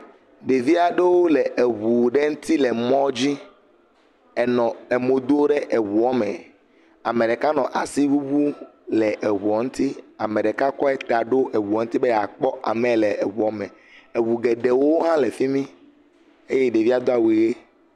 Ɖeviaɖowo le eʋu ɖe ŋti le mɔdzi, enɔ emo do ɖe eʋuɔme, ameɖeka nɔ asi ʋuʋu le eʋuɔ ŋti, emɖeka kɔe ta ɖo eʋua ŋuti be yeakpɔ ameyi le eʋuame, eʋu geɖewo hã le fimi eye ɖevia do awu ɣe